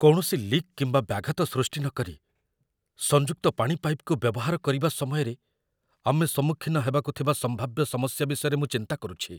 କୌଣସି ଲିକ୍ କିମ୍ବା ବ୍ୟାଘାତ ସୃଷ୍ଟି ନକରି, ସଂଯୁକ୍ତ ପାଣି ପାଇପ୍‌କୁ ବ୍ୟବହାର କରିବା ସମୟରେ ଆମେ ସମ୍ମୁଖୀନ ହେବାକୁ ଥିବା ସମ୍ଭାବ୍ୟ ସମସ୍ୟା ବିଷୟରେ ମୁଁ ଚିନ୍ତା କରୁଛି।